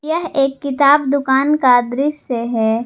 यह एक किताब दुकान का दृश्य है।